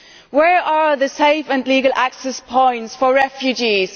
Where are the safe and legal access points for refugees?